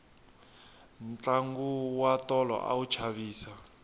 tlangu wa tolo a wu chavisa